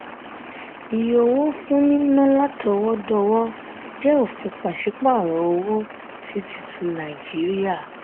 ìyè owó wà fún nínà látọwọ-dọwọ jẹ ofin pasiparo owó sí tuntun nàìjíríà.